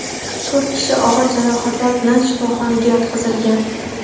To‘rt kishi og‘ir jarohatlar bilan shifoxonaga yotqizilgan.